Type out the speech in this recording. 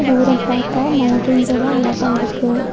தூரம் பாத்தா மௌண்டெய்ன்ஸ் எல்லா அழகா இருக்கு.